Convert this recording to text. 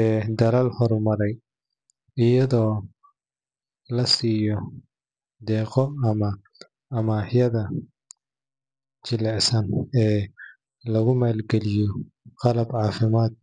ee dalalka horumaraya, iyadoo la siiyo deeqo ama amaahaha jilicsan ee lagu maalgaliyo qalab caafimaad.